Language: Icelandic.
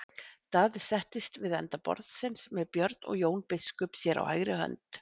Daði settist við enda borðsins með Björn og Jón biskup sér á hægri hönd.